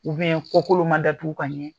U kɔkolo man datuku ka ɲɛ